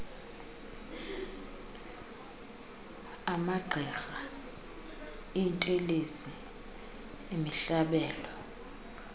amagqirha iintelezi imihlabelo